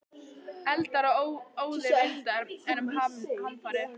Eldar og óðir vindar- enn um hamfarir